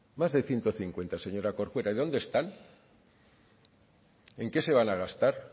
más de ciento cincuenta señora corcuera y dónde están en qué se van a gastar